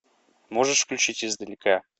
можешь включить издалека